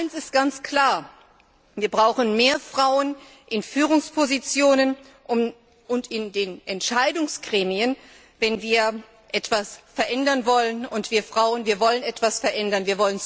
Eins ist ganz klar Wir brauchen mehr Frauen in Führungspositionen und in den Entscheidungsgremien, wenn wir etwas verändern wollen, und wir Frauen wollen etwas verändern.